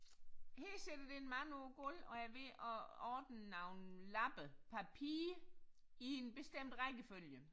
Her sidder der en mand på et gulv og er ved at ordne nogle lappe papir i en bestemt rækkefølge